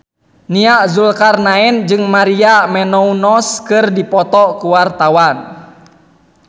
Nia Zulkarnaen jeung Maria Menounos keur dipoto ku wartawan